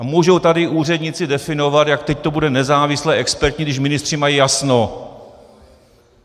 A můžou tady úředníci definovat, jak teď to bude nezávislé, expertní, když ministři mají jasno.